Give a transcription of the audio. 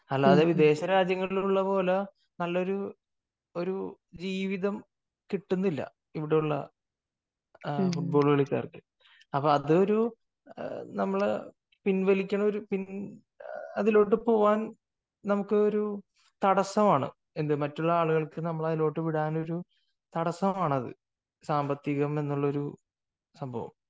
അല്ലാതെ വിദേശ രാജ്യങ്ങളിൽ ഉള്ളതുപോലെ നല്ലൊരു ഒരു ജീവിതം കിട്ടുന്നില്ല ഇവിടെയുള്ള ഫുട്ബോൾ കളിക്കാർക്ക്. അപ്പോ അതോരു പിൻവലിക്കുന്ന, പിൻ അപ്പൊ അതിലോട്ടു പോകാൻ നമുക്കൊരു തടസ്സമാണ്. മറ്റുള്ള ആളുകൾക്ക് നമ്മളെ അതിലോട്ടു ഇടാനുള്ള ഒരു തടസ്സമാണത്. സാമ്പത്തികം എന്നൊരു